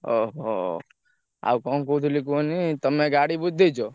ଓହୋ! ଆଉ କଣ କହୁଥିଲି କୁହନି ତମେ ଗାଡି ବୁଝିଦେଇଛ?